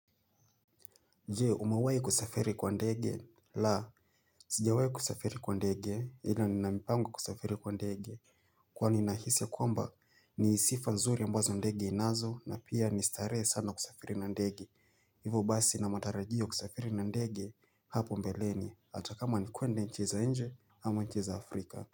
Je umewahi kusafiri kwa ndege la Sijawahi kusafiri kwa ndege ila nina mpango kusafiri kwa ndege Kwani nahisi ya kwamba ni sifa nzuri ambazo ndege inazo na pia ni starehe sana kusafiri na ndege Hivo basi nina matarajio kusafiri na ndege hapo mbeleni hata kama ni kwenda nchi za nje ama nchi za afrika.